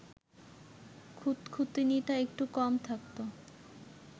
খুঁতখুঁতুনিটা একটু কম থাকত